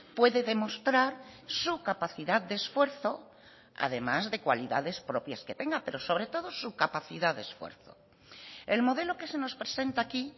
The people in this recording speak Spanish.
puede demostrar su capacidad de esfuerzo además de cualidades propias que tenga pero sobre todo su capacidad de esfuerzo el modelo que se nos presenta aquí